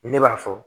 Ni ne b'a fɔ